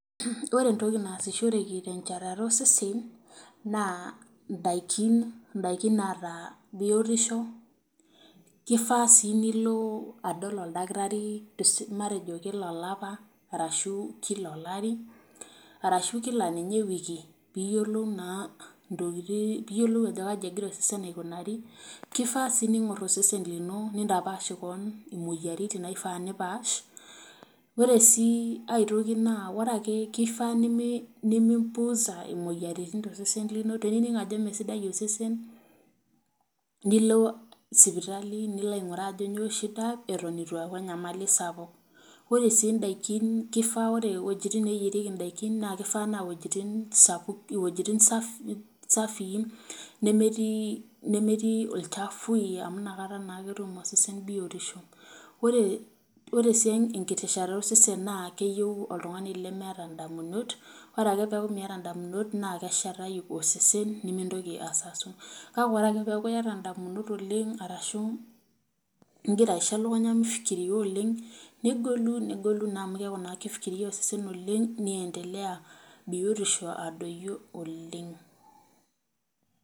Ore etoki naasishoreki techatata osesen naa daikin daikin naata biotisho, kifaa si nilo adol oldakitari, te matejo kila olapa, ashu kila olari, ashu di ninye kila wiki, pee yiolou enegira osesen aikunari lino nitapaash kewan imoyiaritin naifaa nipaash. Ore sii aae toki naa kifaa nimipuusa moyiaritin too sesen lino, tenining ajo mme sidai osesen nilo sipitali nilo ainguraa ajo kanyoo shida, eton itu eeku enyamali sapuk. Ore si daikin kifaa ore wuejitin neyierieki kifaa naa wuejitin sapuk wuejitin safii nemetii nemeti ilchafui, amu ina kata naake etum osesen biotisho. Ore ore sii ekiti shalan osesen naa keyieu oltungani lemeeta damunot ore ake pee eku miata damunot, na keshetayu osesen nimitoki asasu, kake ore ake pee eku yata damunot oooleng arshu igira aishu damunot mifikiria oooleng, negolu negolu amu keaku kegira osesen aifikiria oooleng, niendelea biotisho adoyio oooleng.